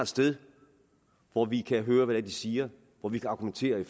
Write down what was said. sted hvor vi kan høre hvad de siger og hvor vi kan argumentere i